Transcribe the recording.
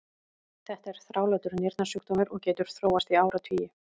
þetta er þrálátur nýrnasjúkdómur og getur þróast í áratugi